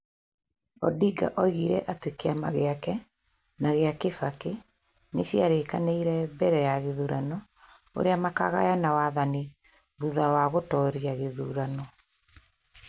Odinga oigire atĩ kĩama gĩake na kĩa Kibaki nĩ cia rĩkanĩ-ire mbere ya gĩthurano ũrĩa makagayana wathani thutha wa gũtoria gĩthurano.